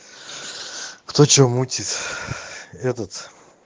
кто что мутит этот